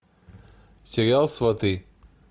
сериал сваты